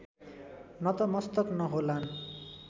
नतमस्तक नहोलान्